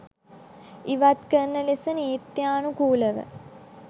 ඉවත් කරන ලෙස නීත්යානුකූලව